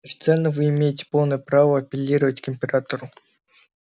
официально вы имеете полное право апеллировать к императору